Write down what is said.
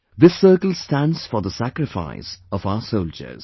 This circle stands for the sacrifice of our soldiers